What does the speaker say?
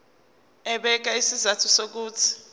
ebeka izizathu zokuthi